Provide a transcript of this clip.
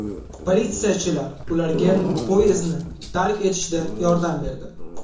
Politsiyachilar ularga poyezdni tark etishda yordam berdi.